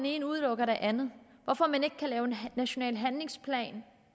ene udelukker det andet hvorfor man ikke kan lave en national handlingsplan